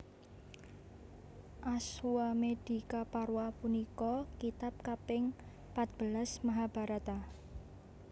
Aswamedikaparwa punika kitab kaping patbelas Mahabharata